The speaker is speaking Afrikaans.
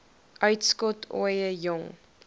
uitskot ooie jong